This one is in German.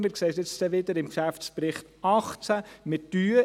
Wir werden es beim Geschäftsbericht 2018 wieder sehen.